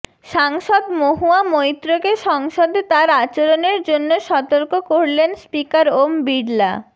সাংসদ মহুয়া মৈত্রকে সংসদে তার আচরণের জন্য সতর্ক করলেন স্পিকার ওম বিড়লা